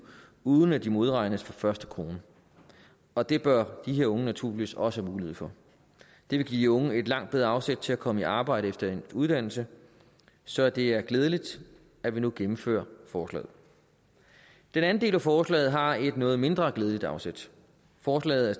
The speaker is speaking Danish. uden at de modregnes fra første krone og det bør de her unge naturligvis også have mulighed for det vil give de unge et langt bedre afsæt til at komme i arbejde efter endt uddannelse så det er glædeligt at vi nu gennemfører forslaget den anden del af forslaget har et noget mindre glædeligt afsæt forslaget er